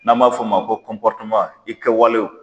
N'an m'a fɔ ma ko kɔpɔriteman i kɛwalew